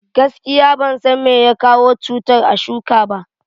Gaskiya, ban san meyake kawo cutar a shuka ba.